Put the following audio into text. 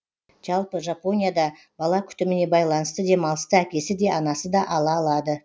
жалпы жапонияда бала күтіміне байланысты демалысты әкесі де анасы да ала алады